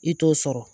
I t'o sɔrɔ